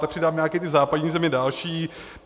Tak přidám nějaké ty západní země další.